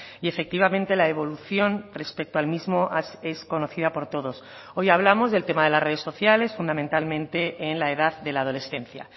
y efectivamente la evolución respecto al mismo es conocida por todos hoy hablamos del tema de las redes sociales fundamentalmente en la edad de la adolescencia